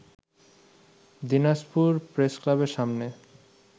দিনাজপুর প্রেসক্লাবের সামনে